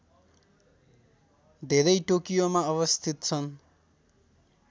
धेरै टोकियोमा अवस्थित छन्